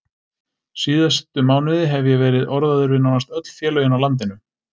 Síðustu mánuði hef ég verið orðaður við nánast öll félögin á landinu.